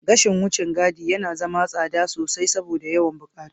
Gashin wucin gadi yana zama tsada sosai saboda yawan buƙatu.